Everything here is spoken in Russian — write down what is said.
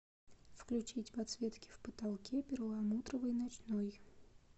включить подсветки в потолке перламутровый ночной